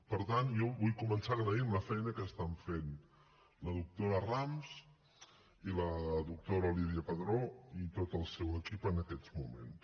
per tant jo vull començar agraint la feina que estan fent la doctora rams i la doctora lydia padró i tot el seu equip en aquests moments